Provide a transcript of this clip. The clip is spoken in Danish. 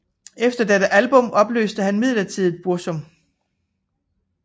Efter dette album opløste han midlertidigt Burzum